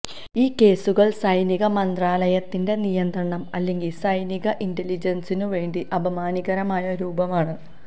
ഈ കേസുകൾ സൈനിക മന്ത്രാലയത്തിന്റെ നിയന്ത്രണം അല്ലെങ്കിൽ സൈനിക ഇന്റലിജൻസിനു വേണ്ടി അപമാനകരമായ രൂപമാണ്